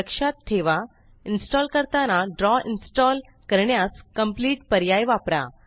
लक्षात ठेवा इन्सटॉंल करताना ड्रॉ इन्सटॉंल करण्यास कंप्लीट पर्याय वापरा